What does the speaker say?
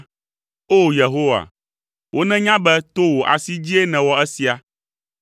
O! Yehowa, wonenya be to wò asi dzie nèwɔ esia.